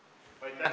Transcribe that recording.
Aitäh!